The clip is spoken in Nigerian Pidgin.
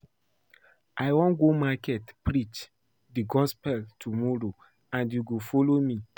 I wan go market preach the gospel tomorrow and you go follow me